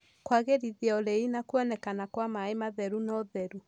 Kũagĩrithia ũrĩi na kuonekana kwa maĩ matheru na ũtheru